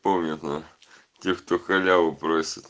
помню нах тех кто халяву просит